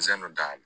Zɛndu dayɛlɛ